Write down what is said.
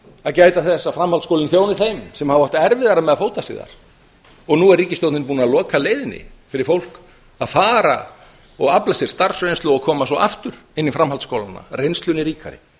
að gæta þess að framhaldsskólinn þjóni þeim sem hafa átt erfiðara með að fóta sig þar og nú er ríkisstjórnin búin að loka leiðinni fyrir fólk að fara og afla sér starfsreynslu og koma svo aftur inn í framhaldsskólana reynslunni ríkari